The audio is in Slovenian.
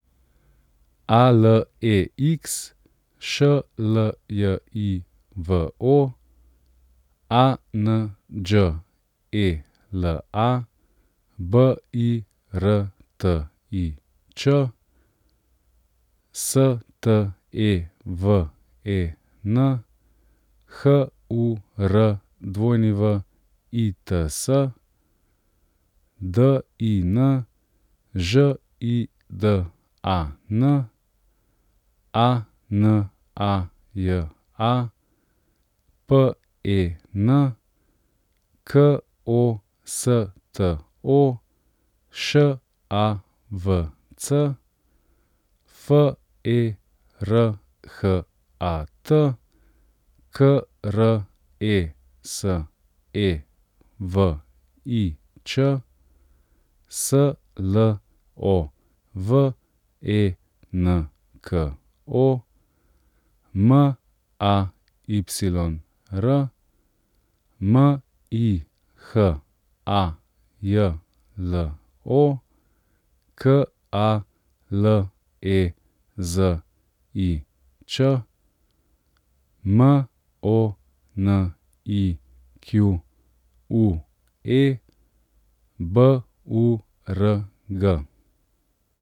A L E X, Š L J I V O; A N Đ E L A, B I R T I Č; S T E V E N, H U R W I T S; D I N, Ž I D A N; A N A J A, P E N; K O S T O, Š A V C; F E R H A T, K R E S E V I Č; S L O V E N K O, M A Y R; M I H A J L O, K A L E Z I Ć; M O N I Q U E, B U R G.